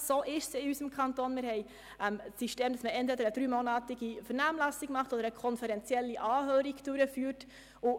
Unser Kanton hat das System, bei welchem entweder eine dreimonatige Vernehmlassung oder eine konferenzielle Anhörung durchgeführt wird.